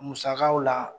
Musakaw la